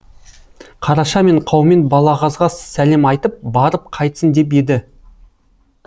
қараша мен қаумен балағазға сәлем айтып барып қайтсын деп еді